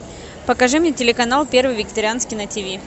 покажи мне телеканал первый вегетарианский на тв